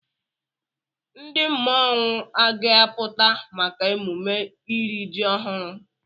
Ndị mmọnwụ a ga-apụta maka emume iri ji ọhụrụ?